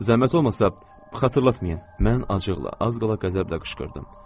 Zəhmət olmasa xatırlatmayın, mən acıqla, az qala qəzəblə qışqırdım.